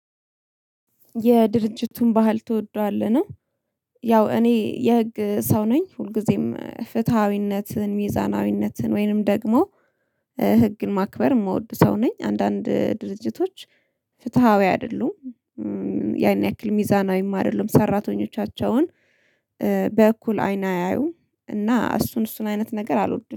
የድርጅቱን ባህል ትወደዋለህ ነው? ያው እኔ የህግ ሰው ነኝ ሁልጊዜም ፍትሃዊነትን ሚዛናዊነትን ወይንም ደግሞ ህግን ማክበር የምወድ ሰው ነኝ። አንዳንድ ድርጅቶች ፍትሃዊ አይደሉም። ያን ያክል ሚዛናዊም አይደሉም ሰራተኞቻቸውን በእኩል አይን አያዩም። እና እሱን እሱን አይነት ነገር አልወድም